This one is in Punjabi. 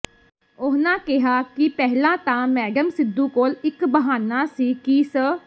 ਉਨ੍ਹਾਂ ਕਿਹਾ ਕਿ ਪਹਿਲਾਂ ਤਾਂ ਮੈਡਮ ਸਿੱਧੂ ਕੋਲ ਇੱਕ ਬਹਾਨਾਂ ਸੀ ਕਿ ਸ